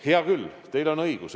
Hea küll, teil on õigus.